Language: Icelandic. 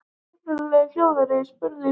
Upprunalega hljóðaði spurningin svona: